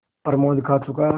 प्रमोद खा चुका